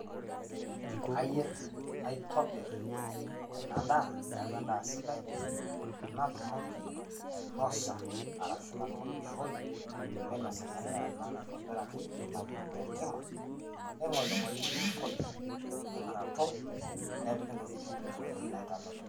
Kayeer naitobir ena ndaa naeku endaa sidai, natumooki ainosa arashu natumooki ashooi meinosi ana ndaa naitobiraki nayeeri te enkimaa neng'oling'oli nepuurijii metijig'a rootok nepiki ntokitin kule ntokitini naitamelok.